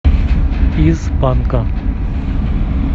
из панка